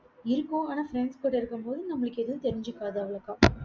இருக்கும் ஆனா friends கூட இருக்கும்போது, நம்மளுக்கு எதுவும் தெரிஞ்சிக்காது. அவ்வளவுக்கா